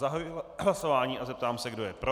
Zahajuji hlasování a zeptám se, kdo je pro.